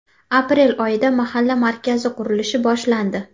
Aprel oyida mahalla markazi qurilishi boshlandi.